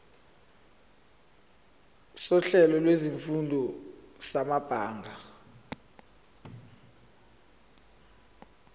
sohlelo lwezifundo samabanga